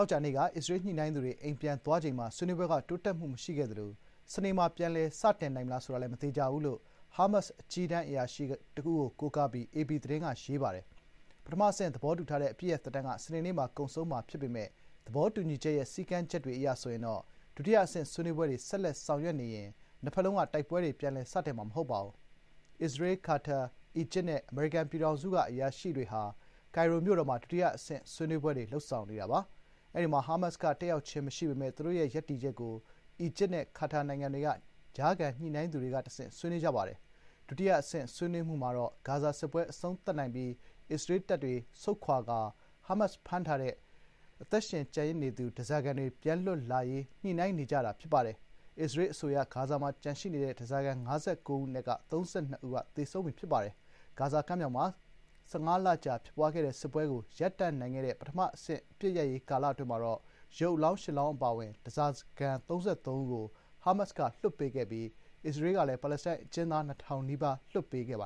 ောကြာနေ့က အစ္စရေးညှိနှိုင်းသူတွေ အိမ်ပြန်သွားချိန်မှာ ဆွေးနွေးပွဲက “တိုးတက်မှုမရှိခဲ့သလို စနေမှာ ပြန်လည် စတင်နိုင်မလား ဆိုတာလည်း မသေချာဘူး” လို့ ဟားမတ်စ်ရဲ့ နိုင်ငံရေးဗျူရို အဖွဲ့ဝင်တဦးဖြစ်သူ ဘာဆမ် နိုင်မ်က အေပီသတင်းဌာနကို ပြောပါတယ်။ ပထမအဆင့် သဘောတူထားတဲ့ အပစ်ရပ် သက်တမ်းက စနေနေ့မှာ ကုန်ဆုံးမှာ ဖြစ်ပေမယ့် သဘောတူညီချက်ရဲ့ စည်းကမ်းချက်တွေ အရဆိုရင်တော့ ဒုတိယအဆင့်ဆွေးနွေးပွဲတွေ ဆက်လက် ဆောင်ရွက်နေရင် နှစ်ဘက်လုံးက တိုက်ပွဲတွေ ပြန်လည်စတင်မှာ မဟုတ်ပါဘူး။ အစ္စရေး၊ ကာတာ၊ အီဂျစ်နဲ့ အမေရိကန်ပြည်ထောင်စုက အရာရှိတွေဟာ ကိုင်ရိုမြို့တော်မှာ ဒုတိယအဆင့်ဆွေးနွေးပွဲတွေ လုပ်ဆောင်နေတာပါ။ အဲဒီမှာ ဟားမတ်စ်က တက်ရောက်ခြင်းမရှိပေမယ့် သူတို့ရဲ့ ရပ်တည်ချက်ကို အီဂျစ်နဲ့ ကာတာ နိုင်ငံတွေက ကြားခံညှိနှိုင်းသူတွေက တဆင့် ဆွေးနွေးခဲ့ပါတယ်။ ဒုတိယအဆင့် ဆွေးနွေးမှုမှာတော့ ဂါဇာ စစ်ပွဲအဆုံးသတ်နိုင်ပြီး အစ္စရေးတပ်ဖွဲ့တွေ ဆုတ်ခွာသွားကာ၊ ဟားမတ်စ်ဖမ်းထားတဲ့ အထိက အသက်ရှင်လျက် ကျန်ရှိနေသူ ဓားစာခံတွေ ပြန်လွတ်လာရေး ညှိနှိုင်းနေကြတာ ဖြစ်ပါတယ်။ အစ္စရေးအဆိုအရ ဂါဇာမှာ ကျန်ရှိနေသေးတဲ့ ဓားစာခံ ၅၉ ဦးအနက် ၃၂ ဦးမှာ သေဆုံးပြီ ဖြစ်ပါတယ်။ ဂါဇာကမ်းမြောင်မှာ ၁၅ လကြာ ဖြစ်ပွားခဲ့တဲ့ စစ်ပွဲကို ရပ်တန့်နိုင်ခဲ့တဲ့ ပထမအဆင့် အပစ်ရပ်ရေး ကာလ အတွင်းမှာ ရုပ်အလောင်း ၈ လောင်းအပါအဝင် ဓားစာခံ ၃၃ ဦးကို ဟားမတ်က လွှတ်ပေးခဲ့ပြီး၊ အစ္စရေးကလည်း ပါလက်စတိုင်းအကျဉ်းသား ၂,၀၀၀ နီးပါး လွှတ်ပေးခဲ့ပါ